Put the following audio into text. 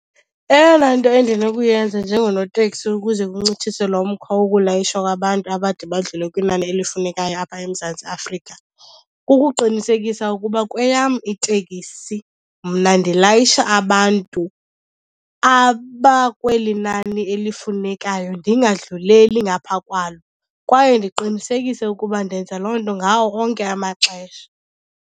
Eyona nto endinokuyenza njengonotekisi ukuze kuncitshiswe lo mkhwa wokulayishwa kwabantu abade badlule kwinani elifunekayo apha eMzantsi Afrika, kukuqinisekisa ukuba kweyam itekisi mna ndilayisha abantu abakweli nani elifunekayo, ndingadlulela ngapha kwalo. Kwaye ndiqinisekise ukuba ndenza loo nto ngawo onke amaxesha.